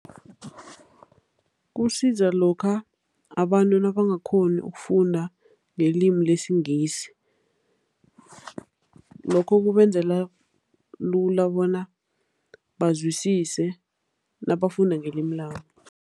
Kusiza lokha abantu nabangakghoni ukufunda ngelimi lesiNgisi. Lokho kubenzela lula bona bazwisise nabafunda ngelimi labo.